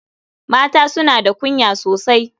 Mata suna da kunya sosai.